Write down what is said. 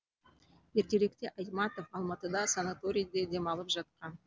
ертеректе айтматов алматыда санаториде демалып жатқан